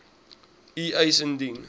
u eis indien